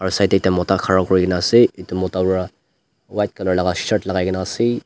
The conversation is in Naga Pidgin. side tae ekta mota khara kurikaena ase edu mota pra white colour laka shirt lakai kae na ase.